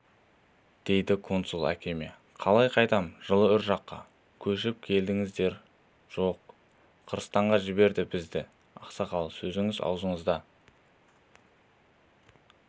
дейді консул әкеме қалай қайтам жылы үржарға көшіп келдіңіздер жоқ қырғызстанға жіберді бізді ақсақал сөзіңіз аузыңызда